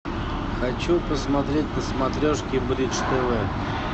хочу посмотреть на смотрешке бридж тв